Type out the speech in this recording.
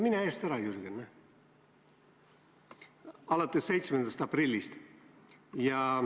Mine eest ära, Jürgen, palun!